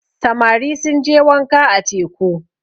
samari sun je wànka a teku